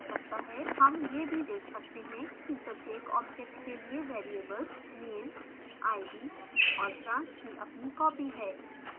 name यह भी देख सकते हैं कि प्रत्येक object के लिए variables name id और branch की अपनी copies है